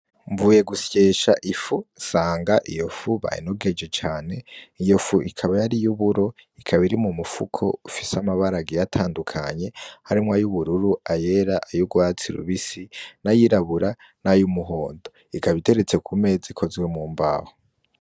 Mvuye gusyesha ifu nsanga iyo fu bayinogeje cane iyo fu ikaba yari iy'uburo ikaba iri mu mufuko ufise amabara agiye atandukanye harimwo ay'ubururu ayera ay'urwatsi rubisi n'ayirabura nay'umuhondo ikaba iteretse ku meza ikozwe mu mbaho.